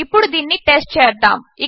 ఇప్పుడు దీనిని టెస్ట్ చేద్దాము